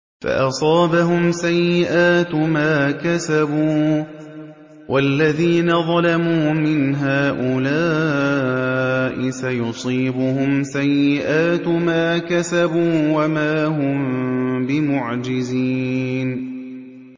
فَأَصَابَهُمْ سَيِّئَاتُ مَا كَسَبُوا ۚ وَالَّذِينَ ظَلَمُوا مِنْ هَٰؤُلَاءِ سَيُصِيبُهُمْ سَيِّئَاتُ مَا كَسَبُوا وَمَا هُم بِمُعْجِزِينَ